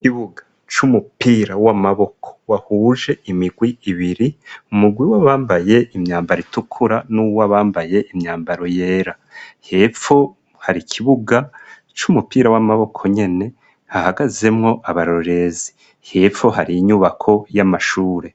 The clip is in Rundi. Ikibuga c'umupira w'amaboko wahuje imigwi ibiri, umugwi wa bambaye imyambaro itukura, n'uwo bambaye imyambaro yera. Hepfo hari kibuga c'umupira w'amaboko nyene, hahagazemwo abarorezi, hepfo hari inyubako y'amashure.